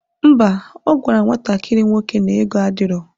Ḿbà, ogwara nwatakiri nwoke na ego adiro